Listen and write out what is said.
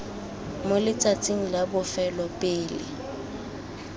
mo letsatsing la bofelo pele